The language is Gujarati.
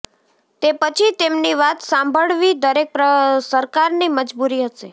તે પછી તેમની વાત સાંભળવી દરેક સરકારની મજબૂરી હશે